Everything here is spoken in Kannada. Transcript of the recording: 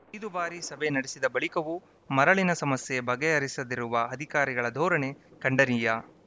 ಐದು ಬಾರಿ ಸಭೆ ನಡೆಸಿದ ಬಳಿಕವೂ ಮರಳಿನ ಸಮಸ್ಯೆ ಬಗೆಹರಿಸದಿರುವ ಅಧಿಕಾರಿಗಳ ಧೋರಣೆ ಖಂಡನೀಯ